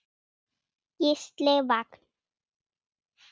Gísli Vagn.